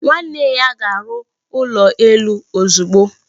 Nwanne ya ga-arụ ụlọ elu ozugbo.